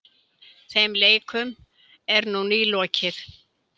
Þeim leikum er nú nýlokið.